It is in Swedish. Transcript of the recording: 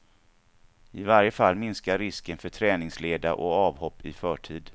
I varje fall minskar risken för träningsleda och avhopp i förtid.